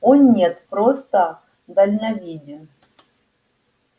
о нет просто дальновиден